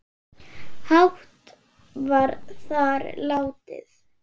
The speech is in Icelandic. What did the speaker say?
hátt var þar látið